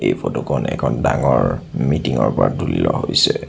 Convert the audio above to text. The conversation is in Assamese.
এই ফটো খন এখন ডাঙৰ মিটিং ৰ তুলি লোৱা হৈছে।